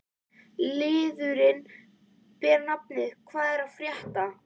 Liðurinn ber nafnið: Hvað er að frétta?